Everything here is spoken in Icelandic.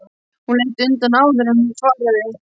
Hún leit undan áður en hún svaraði.